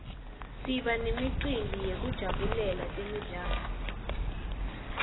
siba nemicimbi yekujabulela temidlalo